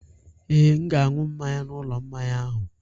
Ee, m ga-aṅụ mmanya n'ụlọ mmanya ahụ.